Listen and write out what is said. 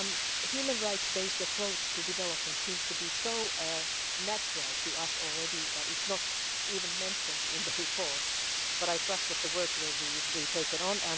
A human rights-based approach to development seems to be so natural to us already that it is not even mentioned in the report, but I trust that the work will be taken on.